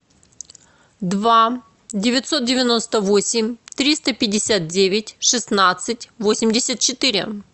два девятьсот девяносто восемь триста пятьдесят девять шестнадцать восемьдесят четыре